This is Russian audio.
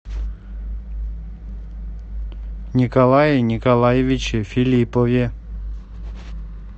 николае николаевиче филиппове